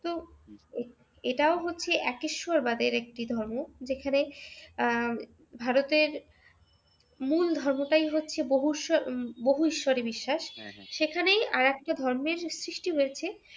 তো এটাও হচ্ছে একঈশ্বরবাদের একটা ধর্ম যেখানে আহ ভারতের মূল ধর্মটাই হচ্ছে বহু ঈশ্বরে বিশ্বাস সেখানেই আরেকটা ধর্মের সৃষ্টি হয়েছে।